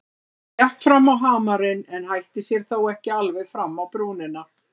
Hún gekk fram á hamarinn en hætti sér þó ekki alveg fram á brúnina.